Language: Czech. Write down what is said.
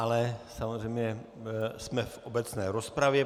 Ale samozřejmě jsme v obecné rozpravě.